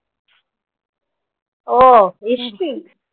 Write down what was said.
oh history